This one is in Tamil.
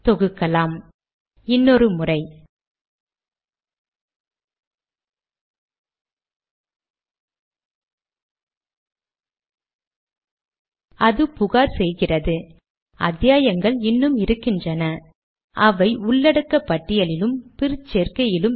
முடிவாக இங்கே வரும் யுவர்ஸ் சின்சியர்லி என்பதை சேர்த்திருக்கிறேன்